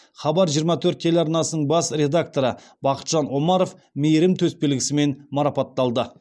хабар жиырма төрт телеарнасының бас редакторы бақытжан омаров мейірім төсбелгісімен марапатталды